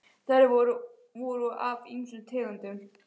Þær voru af ýmsum tegundum.